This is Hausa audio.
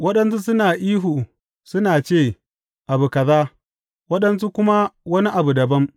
Waɗansu suna ihu suna ce abu kaza, waɗansu kuma wani abu dabam.